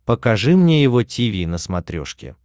покажи мне его тиви на смотрешке